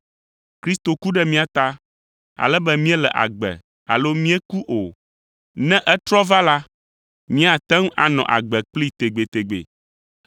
Kristo ku ɖe mía ta, ale be míele agbe alo míeku o, ne etrɔ va la, míate ŋu anɔ agbe kplii tegbetegbe.